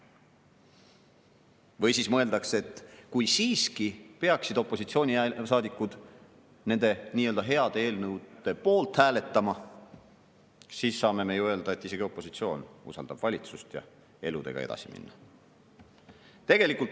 Või siis mõeldakse, et kui siiski peaksid opositsioonisaadikud nende nii-öelda heade eelnõude poolt hääletama, siis saame me öelda, et isegi opositsioon usaldab valitsust, ja eluga edasi minna.